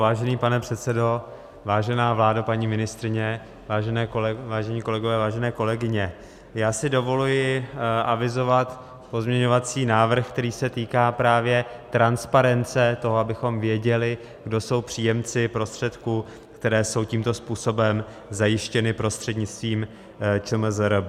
Vážený pane předsedo, vážená vládo, paní ministryně, vážení kolegové, vážené kolegyně, já si dovoluji avizovat pozměňovací návrh, který se týká právě transparence toho, abychom věděli, kdo jsou příjemci prostředků, které jsou tímto způsobem zajištěny prostřednictvím ČMRZB.